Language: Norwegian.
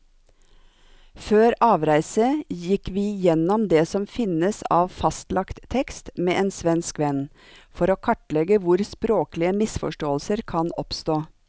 Før avreise gikk vi gjennom det som finnes av fastlagt tekst med en svensk venn, for å kartlegge hvor språklige misforståelser kan oppstå.